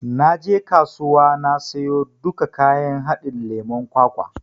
Na je kasuwa na siyo duka kayan haɗin lemon kwakwa.